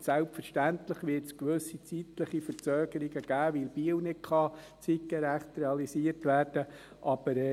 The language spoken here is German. Selbstverständlich wird es gewisse zeitliche Verzögerungen geben, weil Biel nicht zeitgerecht realisiert werden kann.